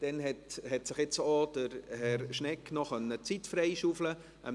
Herr Schnegg hat sich dann noch Zeit freischaufeln können.